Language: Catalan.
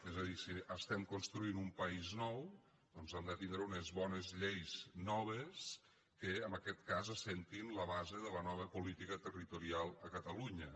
és a dir si estem construint un país nou doncs hem de tindre unes bones lleis noves que en aquest cas assentin la base de la nova política territorial a catalunya